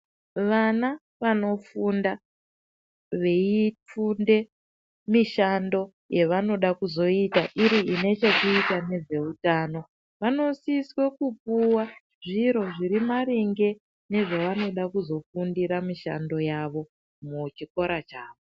Vana vanofunda veifunda mishando yavachada kuzoita iri kune chekuita nezvehutano vanosisa kupuwa zviro zviri maringe nezvavanoshandira mishando yawo muchikora chawo.